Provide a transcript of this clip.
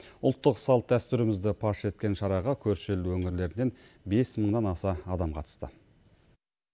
ұлттық салт дәстүрімізді паш еткен шараға көрші ел өңірлерінен бес мыңнан аса адам қатысты